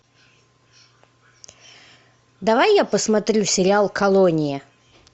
давай я посмотрю сериал колония